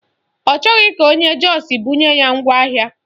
Ọ chọghị ka onye Jọs bunye ya ngwaahịa